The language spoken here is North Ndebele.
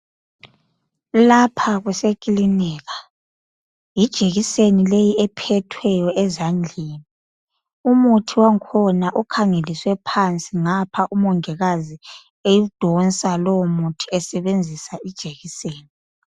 Lapha kusekilinika yijekiseni leyi ephethweyo ezandleni umuthi wangakhona ukhangelelwe phansi ngapha umongikazi eyidonsa lowo muthi esebenzisa ijekiseni.